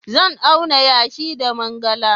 Zan auna yashi da mangala.